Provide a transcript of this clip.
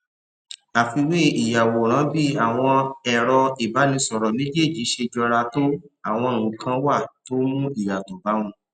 àfiwé ìyàwòrán bí àwọn èrọ ìbánisòrò méjèèjì ṣe jọra tó àwọn nnkán wà tó mú ìyàtò bá wọn